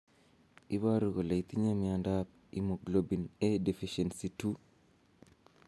Iporu ne kole itinye miondap Immunoglobulin A deficiency 2?